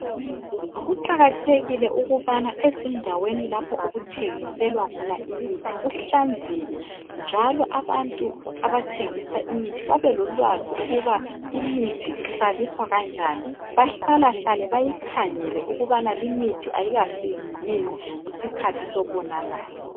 Kuqakathekile ukubana ezindaweni lapho okuthengiselwa khona imithi kuhlanzeke, njalo abantu abathengisa imithi babe lolwazi ukuba imithi ihlaliswa kanjani. Bahlalahlale bakhangele ukubana limithi ayikafiki yini isikhathi sokonakala.